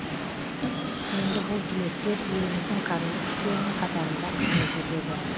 енді бұл түлектер еліміздің қарулы күштерінің қатарында қызмет етеді